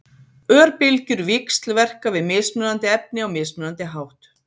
Örbylgjur víxlverka við mismunandi efni á mismunandi hátt.